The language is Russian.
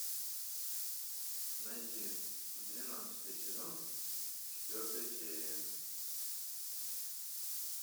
найти двенадцатый сезон четвертая серия